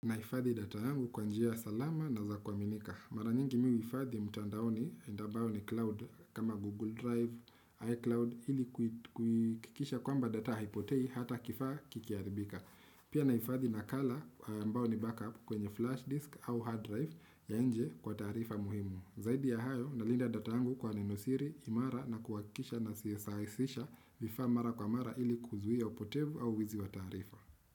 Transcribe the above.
Ninahifadhi data yangu kwa njia salama na za kuaminika. Mara nyingi mimi huhifadhi mtandaoni, ambao ni cloud kama Google Drive, iCloud, ili kuhakikisha kwamba data haipotei hata kifaa kikiharibika. Pia ninahifadhi nakala ambao ni backup kwenye flash disk au hard drive ya nje kwa taarifa muhimu. Zaidi ya hayo, nalinda data yangu kwa nenosiri, imara na kuhakikisha nasasisha vifaa mara kwa mara ili kuzuia upotevu au wizi wa taarifa.